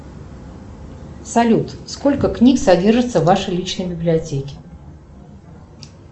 салют сколько книг содержится в вашей личной библиотеке